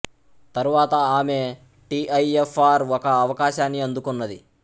తరువాత ఆమె T I F R ఒక అవకాశాన్ని అందుకున్నది